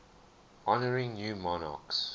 honouring new monarchs